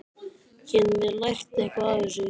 Getum við lært eitthvað af þessu?